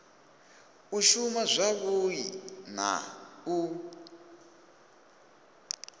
u shuma zwavhui na u